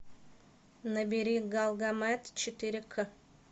набери галгамет четыре к